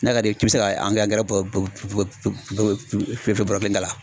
N'a ka d'i ye k'i bɛ se ka angɛrɛ bɔrɔ kelen k'a la.